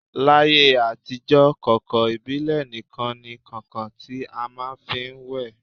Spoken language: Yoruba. L'ayé àtijọ́, kàǹkàn ìbílẹ̀ nikan ni kàǹkàn ti a máà ń fi wẹ̀